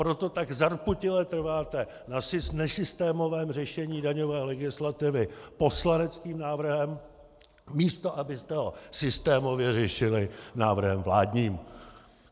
Proto tak zarputile trváte na nesystémovém řešení daňové legislativy poslaneckým návrhem, místo abyste ho systémově řešili návrhem vládním.